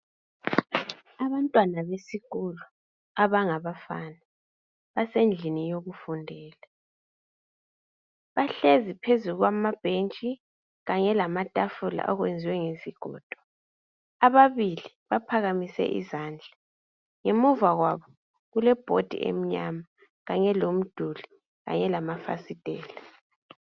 abantwana besikolo abangabafana basendlini yokufundela bahlezi phezulu kwama bhenji kanye lamatafula ayenzwe ngesigodo ababili baphakamise izandla ngemuva kwabo kule bhodi emnyama kanye lomduli kanye lama fasitela